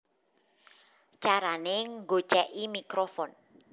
Carané Nggocèki Mikrofon